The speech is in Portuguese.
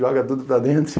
Joga tudo para dentro.